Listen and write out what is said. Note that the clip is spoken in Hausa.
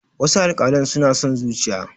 wasu alkalan suna son zuciya